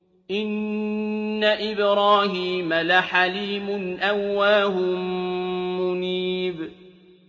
إِنَّ إِبْرَاهِيمَ لَحَلِيمٌ أَوَّاهٌ مُّنِيبٌ